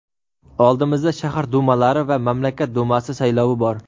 oldimizda shahar dumalari va mamlakat dumasi saylovi bor.